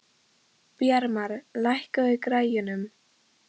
Bjarmar, lækkaðu í græjunum.